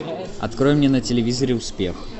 открой мне на телевизоре успех